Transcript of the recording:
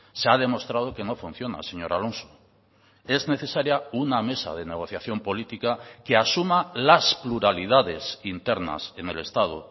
se ha demostrado que no funciona señor alonso es necesaria una mesa de negociación política que asuma las pluralidades internas en el estado